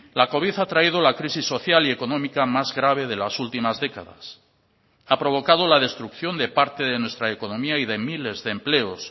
la covid ha traído la crisis social y económica más grave de las últimas décadas ha provocado la destrucción de parte de nuestra economía y de miles de empleos